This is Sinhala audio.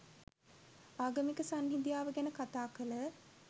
ආගමික සංහිඳියාව ගැන කථා කළ